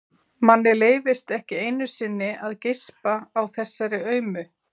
Manni leyfist ekki einu sinni að geispa á þessari aumu